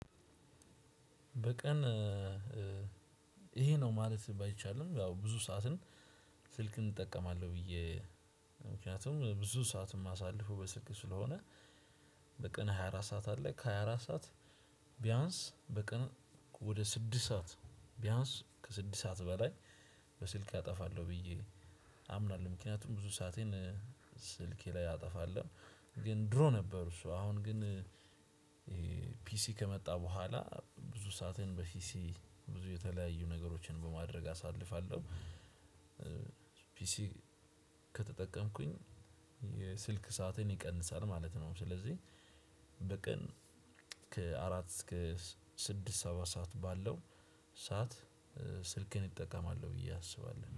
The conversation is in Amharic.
በቀን ይሄ ነው ማለት ባይቻልም ያው ብዙ ሰዓትን ስልክን እጠቀማለሁ ብዬ ምክንያቱም ብዙ ሰዓት የማሳልፈው በስልክ ስለሆነ በቀን ሃያ አራት ሰዓት አለ ከሃያ አራት ሰዓት ቢያንስ በቀን ወደ ስድስት ሰዓት ቢያንስ ከስድስት ሰዓት በላይ በስልክ አጠፋለሁ ብዬ አምናለሁ ምክንያቱም ብዙ ሰአቴን ስልኬ ላይ አጠፋለሁ። ግን ድሮ ነበር። እሱ አሁን ግን ፒሲ ከመጣ በኋላ ብዙ ሰአቴን በፒሲ ብዙ የተለያዩ ነገሮችን በማድረግ አሳልፋለሁ። ፒሲ ከተጠቀምኩኝ የስልክ ሰአቴን ይቀንሳል ማለት ነው። ስለዚህ በቀን ከአራት እስከ ስድስት ሰባት ሰዓት ባለው ሰዓት ስልኬን እጠቀማለሁ ብዬ አስባለሁ